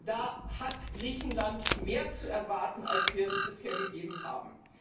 Da hat Griechenland mehr zu erwarten, als wir bisher gegeben haben!